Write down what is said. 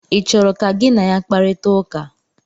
ị chọrọ ka gị na ya kparịta ụka?